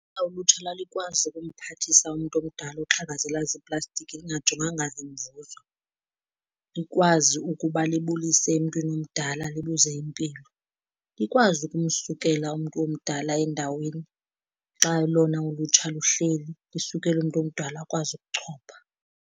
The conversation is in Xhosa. Ulutsha lalikwazi ukumphathisa umntu omdala oxhakazela ziiplastiki lingajonganga zinzuzo, likwazi ukuba libulise emntwini omdala libuze impilo, likwazi ukumsukela umntu omdala endaweni xa lona ulutsha luhleli, lisukele umntu omdala akwazi ukuchopha.